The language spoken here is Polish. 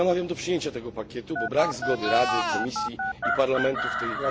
Namawiam do przyjęcia tego pakietu, bo brak zgody Rady, Komisji i Parlamentu w tej sprawie będzie